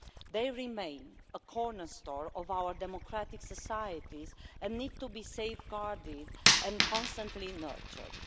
They remain a cornerstone of our democratic societies and they need to be safeguarded and constantly nurtured.